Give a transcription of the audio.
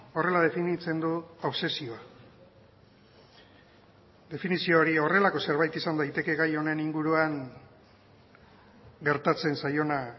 horrela definitzen du obsesioa definizio hori horrelako zerbait izan daiteke gai honen inguruan gertatzen zaiona